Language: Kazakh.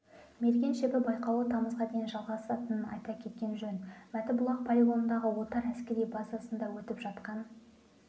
мерген шебі байқауы тамызға дейін жалғасатынын айта кеткен жөн мәтібұлақ полигонындағы отар әскери базасында өтіп жатқан